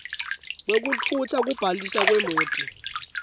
kwekutfutsa kubhaliswa kwemoti